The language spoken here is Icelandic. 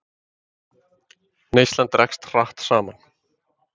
Neyslan dregst hratt saman